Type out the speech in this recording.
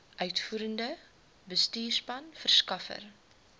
uitvoerende bestuurspan verskaffers